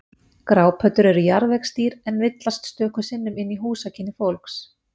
Grápöddur eru jarðvegsdýr en villast stöku sinnum inn í húsakynni fólks.